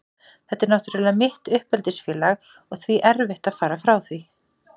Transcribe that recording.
Þetta er náttúrlega mitt uppeldisfélag og því erfitt að fara frá því.